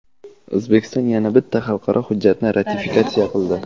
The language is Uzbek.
O‘zbekiston yana bitta xalqaro hujjatni ratifikatsiya qildi.